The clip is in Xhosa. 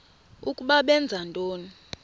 ukuba benza ntoni